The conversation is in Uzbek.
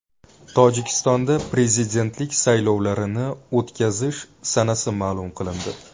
Tojikistonda prezidentlik saylovlarini o‘tkazish sanasi ma’lum qilindi.